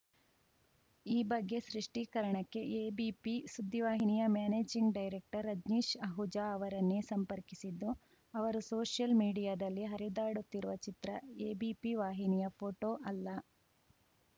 ಈ ಬಗ್ಗೆ ಸೃಷ್ಟೀಕರಣಕ್ಕೆ ಎಬಿಪಿ ಸುದ್ದಿವಾಹಿನಿಯ ಮ್ಯಾನೇಜಿಂಗ್‌ ಡೈರೆಕ್ಟರ್‌ ರಜ್ನೀಶ್‌ ಅಹುಜಾ ಅವರನ್ನೇ ಸಂಪರ್ಕಿಸಿದ್ದು ಅವರು ಸೋಷಿಯಲ್‌ ಮೀಡಿಯಾದಲ್ಲಿ ಹರಿದಾಡುತ್ತಿರುವ ಚಿತ್ರ ಎಬಿಪಿ ವಾಹಿನಿಯ ಫೋಟೋ ಅಲ್ಲ